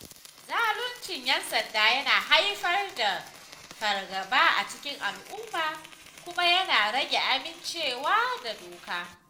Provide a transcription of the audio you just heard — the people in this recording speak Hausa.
Zaluncin 'yan sanda yana haifar da fargaba a cikin al'umma kuma yana rage amincewa da doka.